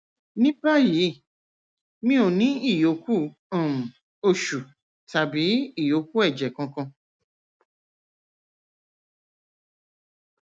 ní báyìí mi ò ní ìyókù um oṣù tàbí ìyókù ẹjẹ kankan